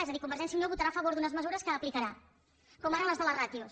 és a dir convergència i unió votarà a favor d’unes mesures que aplicarà com ara les de les ràtios